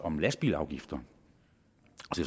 om lastbilafgifter